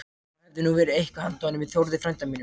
Það hefði nú verið eitthvað handa honum Þórði frænda mínum!